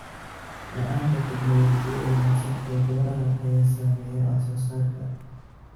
La'aanta tignoolajiyada wanaagsan ee beeraha ayaa saameeya wax soo saarka.